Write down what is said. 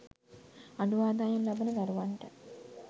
අඩු ආදායම් ලබන දරුවන්ට